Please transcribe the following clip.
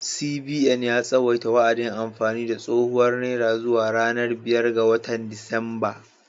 CBN ya tsawaita wa’adin amfani da tsohuwar naira zuwa ranar biyar ga watan Disamba.